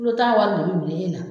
kulu ta wari de be minɛ e la